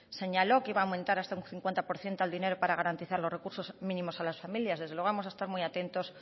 señaló que iba a aumentar hasta un cincuenta por ciento el dinero para garantizar los recursos mínimos a las familias desde luego vamos a estar muy atentos